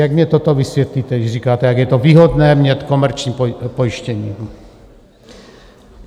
Jak mi toto vysvětlíte, když říkáte, jak je to výhodné mít komerční pojištění?